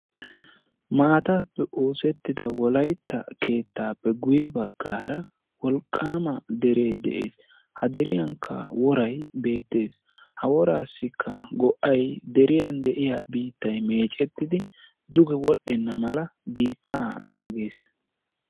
Maataape oosettida wolaytta keettaappe guyye bagaara wolqqaama dere de'es ha deriyanka woray beettes ha woraassikka go'ay deriyaan de'iyaa biittay meecettidi duge wodhenna mala biitta naagees.